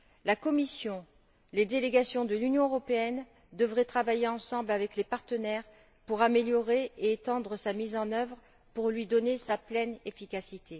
La Commission et les délégations de l'Union européenne devraient travailler ensemble avec les partenaires pour améliorer et étendre sa mise en œuvre pour lui donner sa pleine efficacité.